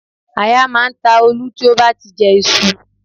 Aya máa ń ta Olú tí ó bá jẹ iṣu